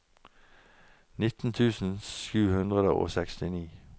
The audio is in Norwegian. nitten tusen sju hundre og sekstini